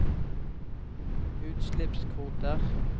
utslippskvoter